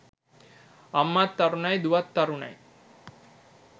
අම්මත් තරුණයි දුවත් තරුණයි.